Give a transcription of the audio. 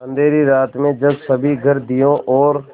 अँधेरी रात में जब सभी घर दियों और